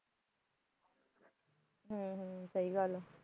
ਹੂੰ ਹੂੰ ਸਹੀ ਗੱਲ ਹੈ